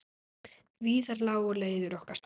Víðar lágu leiðir okkar saman.